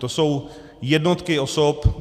To jsou jednotky osob.